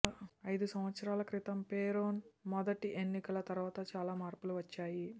ఐదు సంవత్సరాల క్రితం పెరోన్ మొదటి ఎన్నిక తరువాత చాలా మార్పులు వచ్చాయి